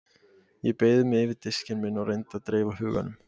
Ég beygði mig yfir diskinn minn og reyndi að dreifa huganum.